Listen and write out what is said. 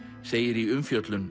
segir í umfjöllun